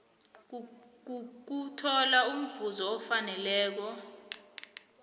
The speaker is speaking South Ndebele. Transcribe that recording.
kokuthola imvumo efaneleko